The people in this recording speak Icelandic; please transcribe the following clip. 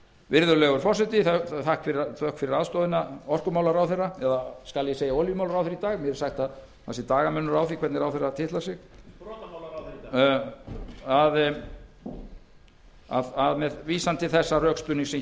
virðulegur forseti þökk fyrir aðstoðina orkumálaráðherra eða skal ég segja olíumálaráðherra í dag mér er sagt að dagamunur sé á því hvernig ráðherra titlar sig með vísan til þess rökstuðnings sem hér